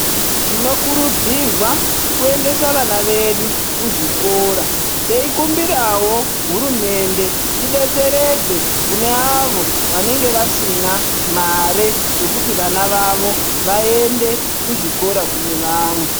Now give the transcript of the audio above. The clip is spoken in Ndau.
Tinokurudzirwa kuendesa vana vedu kuzvikora. Teikumbirawo hurumende idetseredze kune avo vanenge vasina mari yekuti vana vavo vaende kuzvikora kuti kune vamwe.